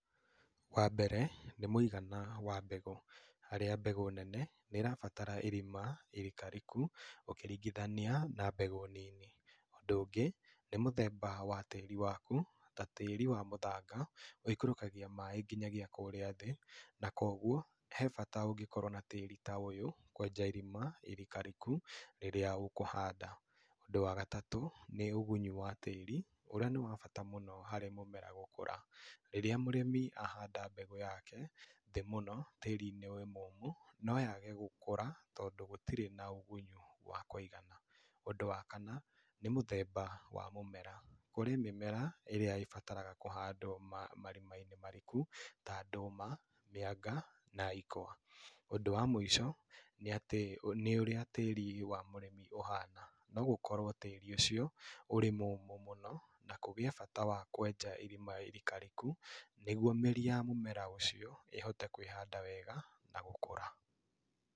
Wa mbere nĩ mũigana wa mbegũ, harĩa mbegũ nene nĩ ĩrabatara irima irikariku ũkĩringithania na mbegũ nini, ũndũ ũngĩ nĩ mũthemba wa tĩri waku, ta tĩri wa mũthanga, wĩikũrũkagia maĩ nginyagia kũrĩa thĩ, na koguo he bata ũngĩkorwo na tĩri ta ũyũ, kwenja irima irikariku rĩrĩa ũkũhanda, ũndũ wa gatatũ nĩ ũgunyi wa tĩri ũrĩa nĩ wa bata mũno harĩ mũmera gũkũra, rĩrĩa mũrĩmi ahanda mbegũ yake thĩ mũno tĩri-inĩ wĩ mũmo noyage gũkũra, tondũ gũtirĩ na ũgunyu wa kwĩigana, ũndũ wa kana nĩ mũthemba wa mũmera, kũrĩ mĩmera ĩrĩa ĩbataraga kũhandwo ma marima-inĩ mariku ta ndũma, mĩanga na ikwa, ũndũ wa mwĩico nĩ atĩ nĩ ũrĩa tĩri wa mũrĩmi ũhana, nogũkorwo tĩri ũcio ũrĩ mũmũ mũno, na kũgĩe bata wa kwenja irima irikariku, nĩguo mĩri ya mĩmera ũcio ĩhote kwĩhanda wega na gũkũra.